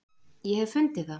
ég hef fundið það!